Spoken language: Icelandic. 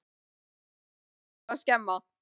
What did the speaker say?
Ekkert lítið sem er búið að skemma!